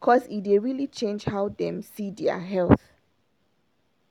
cause e dey really change how dem see dia health